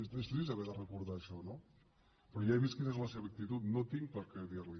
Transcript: és trist haver de recordar això no però ja he vist quina és la seva actitud no tinc per què dirli